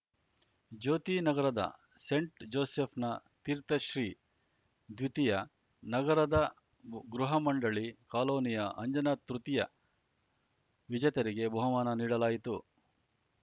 ಜ್ಯೋತಿನಗರದ saint ಜೋಸೆಫ್‌ನ ತೀರ್ಥಶ್ರೀ ದ್ವಿತೀಯ ನಗರದ ಗೃಹ ಮಂಡಳಿ ಕಾಲೋನಿಯ ಅಂಜನ ತೃತೀಯ ವಿಜೇತರಿಗೆ ಬಹುಮಾನ ನೀಡಲಾಯಿತು